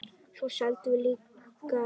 Svo seldum við líka Vikuna.